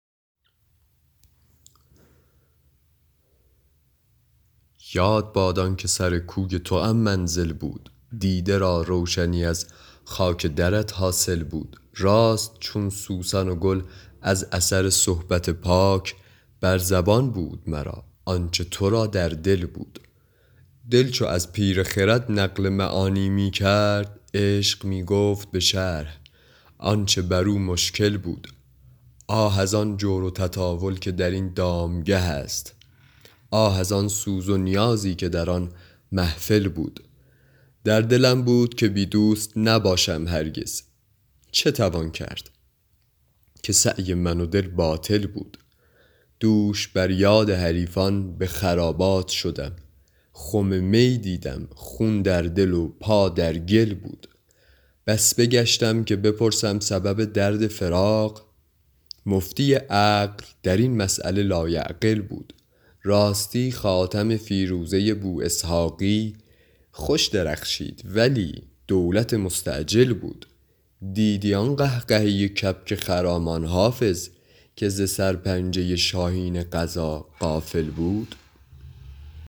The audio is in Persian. یاد باد آن که سر کوی توام منزل بود دیده را روشنی از خاک درت حاصل بود راست چون سوسن و گل از اثر صحبت پاک بر زبان بود مرا آن چه تو را در دل بود دل چو از پیر خرد نقل معانی می کرد عشق می گفت به شرح آن چه بر او مشکل بود آه از آن جور و تطاول که در این دامگه است آه از آن سوز و نیازی که در آن محفل بود در دلم بود که بی دوست نباشم هرگز چه توان کرد که سعی من و دل باطل بود دوش بر یاد حریفان به خرابات شدم خم می دیدم خون در دل و پا در گل بود بس بگشتم که بپرسم سبب درد فراق مفتی عقل در این مسأله لایعقل بود راستی خاتم فیروزه بواسحاقی خوش درخشید ولی دولت مستعجل بود دیدی آن قهقهه کبک خرامان حافظ که ز سرپنجه شاهین قضا غافل بود